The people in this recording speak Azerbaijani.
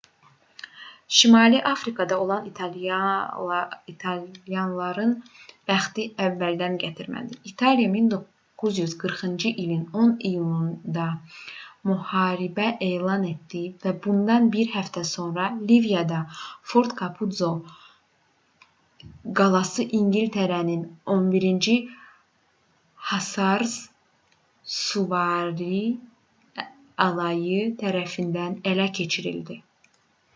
şimali afrikada olan italyanların bəxti əvvəldən gətirmədi. i̇taliya 1940-cı ilin 10 iyununda müharibə elan etdi və bundan bir həftə sonra liviyada fort kapuzzo qalası i̇ngilislərin 11-ci hasars süvari alayı tərəfindən ələ keçirildi